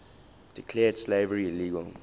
declared slavery illegal